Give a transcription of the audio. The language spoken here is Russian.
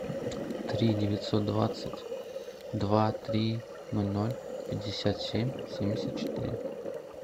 три девятьсот двадцать два три ноль ноль пятьдесят семь семьдесят четыре